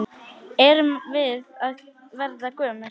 Erum við að verða gömul?